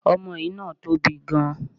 Omoe náà tóbi gan